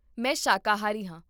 ਮੈਂ ਸ਼ਾਕਾਹਾਰੀ ਹਾਂ